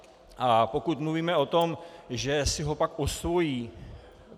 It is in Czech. A pokud mluvíme o tom, že si ho pak osvojí.